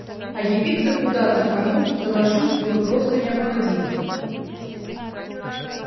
а явиться куда то кому то доложить было просто необходимо